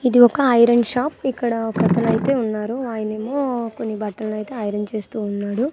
ఇది ఒక iron shop ఇక్కడ ఒక అతను అయితే ఉన్నారు ఆయనేమో కొన్ని బట్టలు అయితే ఐరన్ చేస్తు ఉన్నాడు.